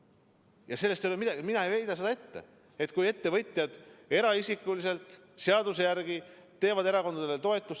Ja sellest ei ole midagi, mina ei heida seda ette, kui ettevõtjad eraisikuliselt seadust järgides erakondi toetavad.